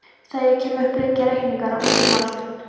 Þegar ég kem upp liggja reikningar úti um allt.